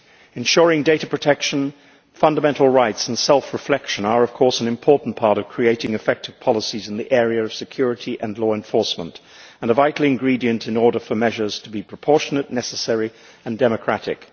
Ensuring data protection, fundamental rights and self reflection are, of course, an important part of creating effective policies in the area of security and law enforcement and a vital ingredient in order for measures to be proportionate, necessary and democratic.